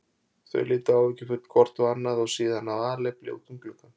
Þau litu áhyggjufull hvort á annað og síðan af alefli út um gluggann.